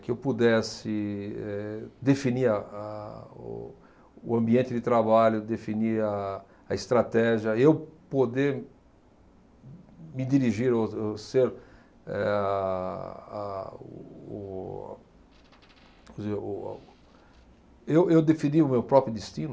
que eu pudesse, eh, definir a, a, o, o ambiente de trabalho, definir a, a estratégia, eu poder me dirigir ou, ou ser, eh, a, a, o, quer dizer, o, o, eu, eu definir o meu próprio destino.